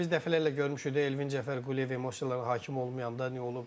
Çünki biz dəfələrlə görmüşük də Elvin Cəfərquliyev emosiyalarına hakim olmayanda nə olub.